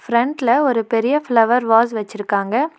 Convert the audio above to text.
ஃபிரெண்ட்ல ஒரு பெரிய flower vase வெச்சுருக்காங்க.